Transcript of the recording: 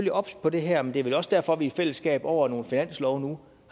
er obs på det her men det er vel også derfor at vi nu i fællesskab over nogle finanslove